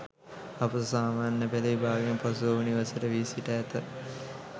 අපොස සාමාන්‍ය පෙළ විභාගයෙන් පසු ඔහු නිවසට වී සිට ඇත.